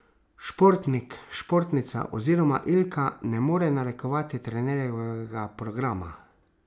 Športnik, športnica oziroma Ilka ne more narekovati trenerjevega programa.